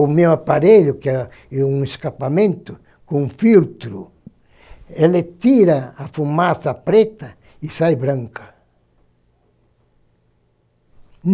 O meu aparelho, que é um escapamento com filtro, ele tira a fumaça preta e sai branca.